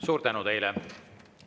Suur tänu teile!